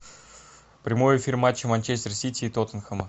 прямой эфир матча манчестер сити и тоттенхэма